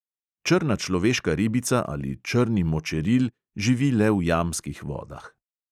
Črna človeška ribica ali črni močeril živi le v jamskih vodah.